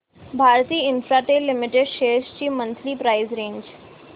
Bharti Infratel limited shares ची monthly price range